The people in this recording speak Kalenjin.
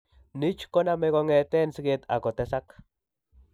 NICH ko name kongeten siget ako tesag